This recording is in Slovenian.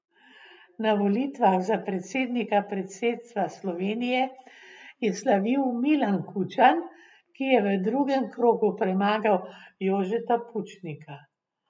Na volitvah za predsednika predsedstva Slovenije je slavil Milan Kučan, ki je v drugem krogu premagal Jožeta Pučnika.